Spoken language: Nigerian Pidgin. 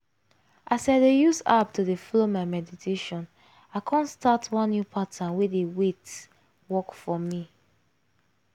as i dey use app to dey follow my meditation i kon start one new pattern wey dey wait! work for me.